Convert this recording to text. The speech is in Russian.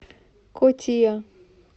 котия